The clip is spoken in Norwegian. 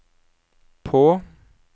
på